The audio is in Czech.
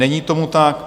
Není tomu tak.